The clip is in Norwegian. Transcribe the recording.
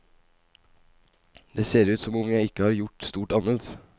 Det ser ut som om jeg ikke har gjort stort annet.